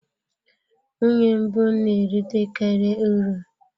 Nwunye mbụ na-erite karị uru.